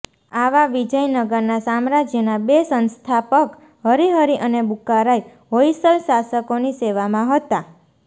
આવા વિજયનગરના સામ્રાજ્યના બે સંસ્થાપક હરિહરિ અને બુક્કારાય હોયસલ શાસકોની સેવામાં હતા